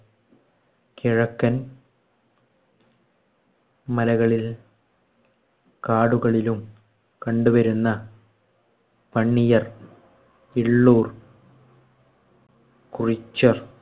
കിഴക്കൻ മലകളിൽ കാടുകളിലും കണ്ടുവരുന്ന പണിയർ, ഇള്ളൂര്‍, കുറിച്യര്‍